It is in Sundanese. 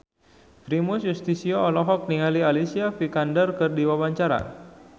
Primus Yustisio olohok ningali Alicia Vikander keur diwawancara